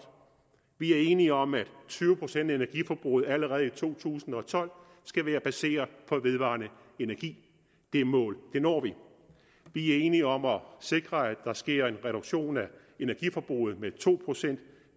vi er enige om at tyve procent af energiforbruget allerede i to tusind og tolv skal være baseret på vedvarende energi det mål når vi vi er enige om at sikre at der sker en reduktion af energiforbruget med to procent